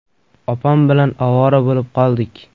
Opam bilan ovora bo‘lib qoldik.